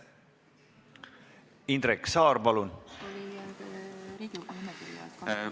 Indrek Saar, palun!